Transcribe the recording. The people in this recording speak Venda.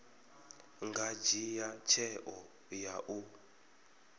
nga dzhia tsheo ya u